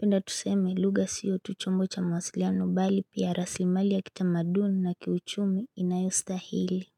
Penda tuseme lugha siyo tu chombo cha mawasiliano bali pia rasimali ya kitamaduni na kiuchumi inayostahili.